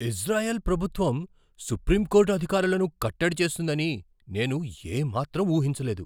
Israel ప్రభుత్వం supreme court అధికారాలను కట్టడి చేస్తుందని నేను ఏ మాత్రం ఊహించలేదు.